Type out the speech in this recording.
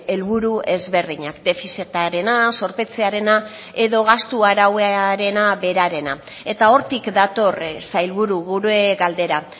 helburu ezberdinak defizitarena zorpetzearena edo gastu arauarena berarena eta hortik dator sailburu gure galdera